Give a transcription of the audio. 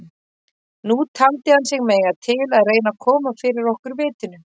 Nú taldi hann sig mega til að reyna að koma fyrir okkur vitinu.